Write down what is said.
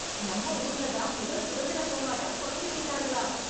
நம்ம ஊர்ல தான் முதல் சுதந்திர போராட்டம் தொடங்கி வைத்தார்களாம்